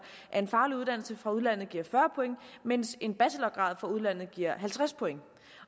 at en faglig uddannelse fra udlandet giver fyrre point mens en bachelorgrad fra udlandet giver halvtreds point